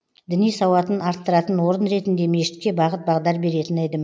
діни сауатын арттыратын орын ретінде мешітке бағыт бағдар беретін эдім